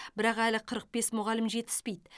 бірақ әлі қырық бес мұғалім жетіспейді